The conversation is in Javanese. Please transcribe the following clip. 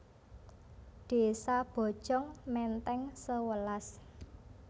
Désa Bojong Menteng sewelas